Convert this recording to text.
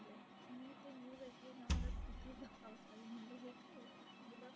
मी ती news ऐकली ना मला तिथंच धक्का बसला. म्हटलं हे काय आहे?